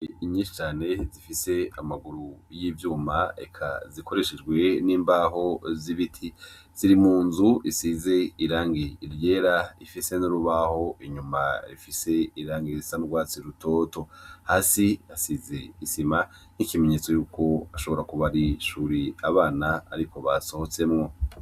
Ingene nyinshi cane zifise amaguru y'ivyuma, eka zikoreshejwe n'imbaho z'ibiti ziri mu nzu isize irangi ryera ifise n'urubaho inyuma rifise irangi risa n'urwatsi rutoto, hasi risize isima nk'ikimenyetso y'uko bashobora kuba ari ishure abana ariho basobotsemwo.